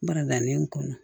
Baragani in kɔnɔ